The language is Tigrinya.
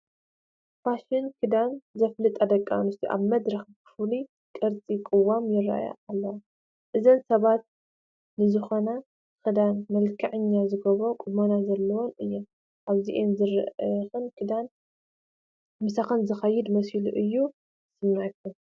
ፋሽን ክዳን ዘፋልጣ ደቂ ኣንስትዮ ኣብ መድረኽ ብፍሉይ ቅርፂ ቅዋም ይርአያ ኣለዋ፡፡ እዘን ሰባት ንዝኾነ ክዳን መልክዐኛ ዝገብር ቁመና ዘለወን እየን፡፡ ኣብአን ዝርአኽንኦ ክዳን ምሳኽን ዝኸይድ መሲሉ እዩ ዝስምዐኽን፡፡